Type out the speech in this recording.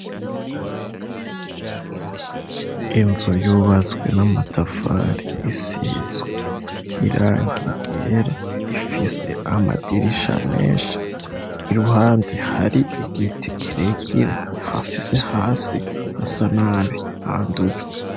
Inzu yubatswe n'amatafari isizwe irangi ryera, ifise namadirisha menshi, iruhande hari igiti kirekire, hasi hasa nabi, handujwe.